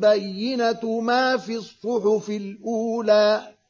بَيِّنَةُ مَا فِي الصُّحُفِ الْأُولَىٰ